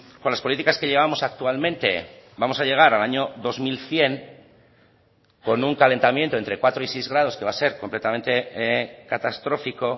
con las políticas que llevamos actualmente vamos a llegar al año dos mil cien con un calentamiento entre cuatro y seis grados que va a ser completamente catastrófico